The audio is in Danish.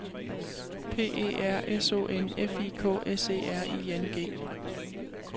P E R S O N F I K S E R I N G